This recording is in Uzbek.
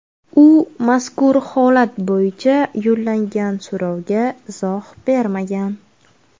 U mazkur holat bo‘yicha yo‘llangan so‘rovga izoh bermagan.